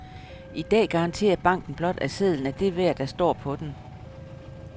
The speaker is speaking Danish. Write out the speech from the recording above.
I dag garanterer banken blot, at sedlen er det værd, der står på den.